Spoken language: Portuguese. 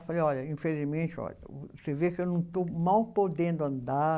Eu falei, olha, infelizmente, olha, você vê que eu não estou. Mal podendo andar.